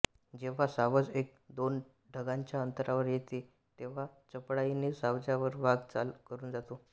जेव्हा सावज एक दोन ढांगांच्या अंतरावर येते तेव्हा चपळाईने सावजावर वाघ चाल करून जातो